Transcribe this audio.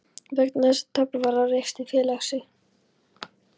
vegna þess að tap varð á rekstri félagsins.